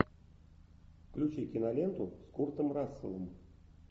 включи киноленту с куртом расселом